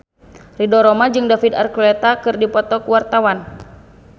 Ridho Roma jeung David Archuletta keur dipoto ku wartawan